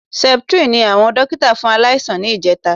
Septrin ni àwọn dókítà fún aláìsàn ní ìjẹta